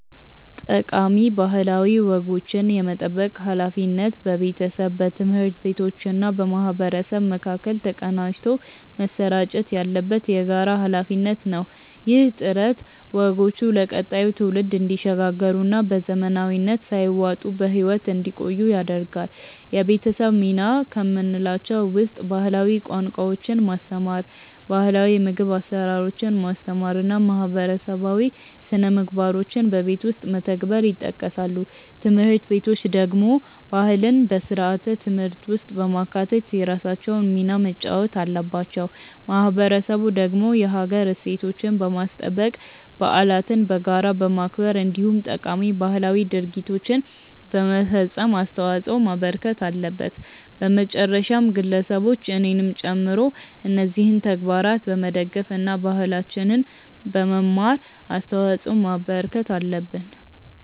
ጠቃሚ ባህላዊ ወጎችን የመጠበቅ ሃላፊነት በቤተሰብ፣ በትምህርት ቤቶችና በማህበረሰብ መካከል ተቀናጅቶ መሰራጨት ያለበት የጋራ ሃላፊነት ነው። ይህ ጥረት ወጎቹ ለቀጣዩ ትውልድ እንዲሸጋገሩና በዘመናዊነት ሳይዋጡ በህይወት እንዲቆዩ ያደርጋል። የቤተሰብ ሚና ከምንላቸው ውስጥ ባህላዊ ቋንቋዎችን ማስተማር፣ ባህላው የምግብ አሰራሮችን ማስተማር እና ማህበረሰባዊ ስነምግባሮችን በቤት ውስጥ መተግበር ይጠቀሳሉ። ትምህርት ቤቶች ደግሞ ባህልን በስርዓተ ትምህርት ውስጥ በማካተት የራሳቸውን ሚና መጫወት አለባቸው። ማህበረሰቡ ደግሞ የሀገር እሴቶችን በማስጠበቅ፣ በዓለትን በጋራ በማክበር እንዲሁም ጠቃሚ ባህላዊ ድርጊቶችን በመፈፀም አስተዋጽዖ ማበርከት አለበት። በመጨረሻም ግለሰቦች እኔንም ጨምሮ እነዚህን ተግባራት በመደገፍ እና ባህላችንን በመማር አስተዋጽዖ ማበርከት አለብን።